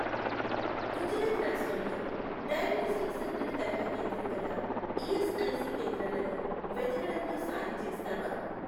గుజరాత్ రాష్ట్రంలో diagnostic centre తరహా కేంద్రం గల ఈఎస్ఐసి కేంద్రాలను వెతకడంలో సాయం చేస్తావా?